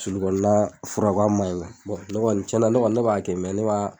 Sulukɔnna fura ko a man ɲi ne kɔni cɛnna ne kɔni ne b'a kɛ ne b'a